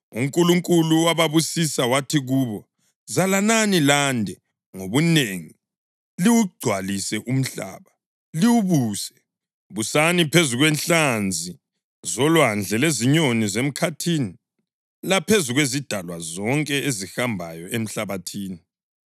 UNkulunkulu wababusisa wathi kubo, “Zalanani lande ngobunengi; liwugcwalise umhlaba, liwubuse. Busani phezu kwenhlanzi zolwandle lezinyoni zemkhathini laphezu kwezidalwa zonke ezihambayo emhlabathini.”